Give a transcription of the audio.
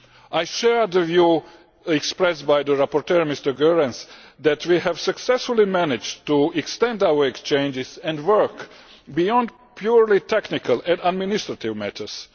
I share the view expressed by the rapporteur, Mr Goerens, that we have successfully managed to extend our exchanges and work beyond purely technical and administrative matters.